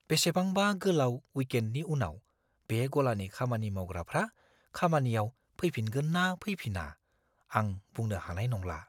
बेसेबांबा गोलाव विकेन्डनि उनाव बे गलानि खामानि मावग्राफ्रा खामानियाव फैफिनगोन ना फैफिना आं बुंनो हानाय नंला।